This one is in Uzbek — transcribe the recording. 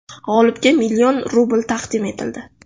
G‘olibga million rubl taqdim etildi.